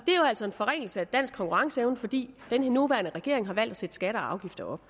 altså en forringelse af dansk konkurrenceevne fordi den her nuværende regering har valgt at sætte skatter og afgifter op